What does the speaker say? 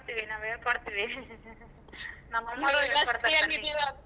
ನಾವ್ ಹೇಳ್ಕೊಡ್ತೀವಿ ನಾವ್ ಹೇಳ್ಕೊಡ್ತೀವಿ .